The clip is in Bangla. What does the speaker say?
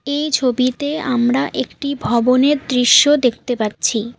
এই ছবিতে আমরা একটি ভবনের দৃশ্য দেখতে পাচ্ছি।